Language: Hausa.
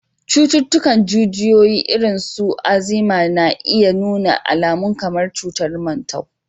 Cututtukan jijiyoyi, irin su Alzheimer's, na iya nuna alamun kamar cutar mantau